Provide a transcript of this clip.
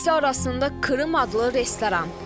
İkisi arasında Krım adlı restoran.